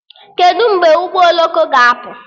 Kedụ mgbe ụgbọ oloko ga-apụ?